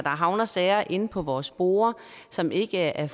havner sager inde på vores borde som ikke er